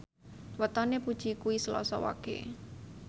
wetone Puji kuwi Selasa Wage